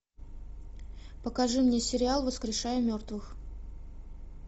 покажи мне сериал воскрешая мертвых